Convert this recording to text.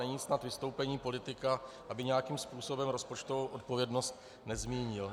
Není snad vystoupení politika, aby nějakým způsobem rozpočtovou odpovědnost nezmínil.